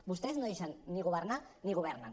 vostès ni deixen governar ni governen